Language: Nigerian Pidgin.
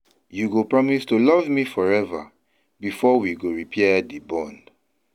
You go promise to love me forever before we go repair di bond.